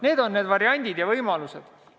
Need on need variandid ja võimalused.